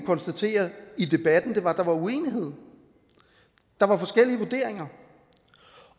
konstatere i debatten var at der var uenighed der var forskellige vurderinger